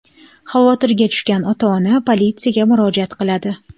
Xavotirga tushgan ota-ona politsiyaga murojaat qiladi.